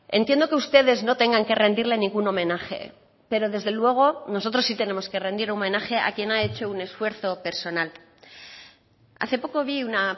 entiendo que ustedes no tengan que rendirle ningún homenaje pero desde luego nosotros sí tenemos que rendir homenaje a quien ha hecho un esfuerzo personal hace poco vi una